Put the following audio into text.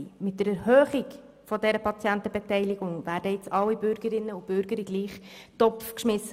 Mit der Erhöhung der Patientenbeteiligung werden jetzt alle Bürgerinnen und Bürger, die über 65 Jahre alt sind, in den gleichen Topf geschmissen.